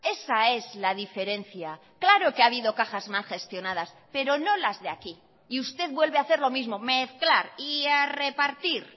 esa es la diferencia claro que ha habido cajas mal gestionadas pero no las de aquí y usted vuelve a hacer lo mismo mezclar y a repartir